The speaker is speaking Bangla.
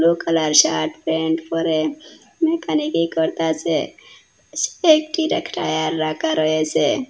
ব্লু কালার শার্ট প্যান্ট পরে মেকানিকি করতাসে টায়ার রাকা রয়েসে।